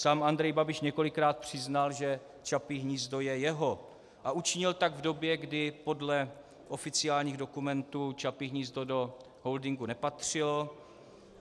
Sám Andrej Babiš několikrát přiznal, že Čapí hnízdo je jeho, a učinil tak v době, kdy podle oficiálních dokumentů Čapí hnízdo do holdingu nepatřilo.